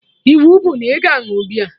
Iwu bụ na ị ga añụ beer!